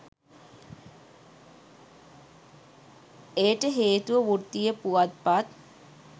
එයට හේතුව වෘත්තීය පුවත්පත්